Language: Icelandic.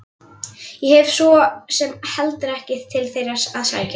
Ég hef svo sem heldur ekkert til þeirra að sækja.